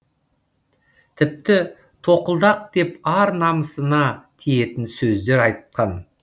тіпті тоқылдақ деп ар намысына тиетін сөздер айтқан